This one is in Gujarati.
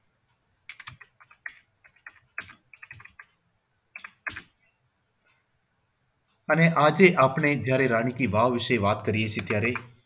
અને આજે આપણને જયારે રાણી કી વાવ વિશે જયારે વાત કરીએ છીએ ત્યારે